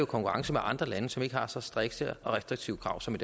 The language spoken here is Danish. konkurrence med andre lande som ikke har så strikse og restriktive krav som